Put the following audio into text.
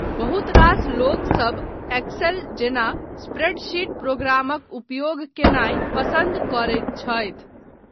बहुत रास लोकसभ एक्सेल जेना स्प्रेडशीट प्रोग्रामक उपयोग कयनाय पसन्द करैत छथि।